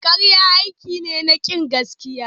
Karya aiki ne na kin gaskiya.